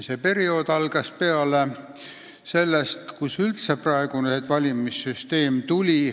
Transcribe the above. See periood algas peale sellest, kus üldse praegune valimissüsteem tuli.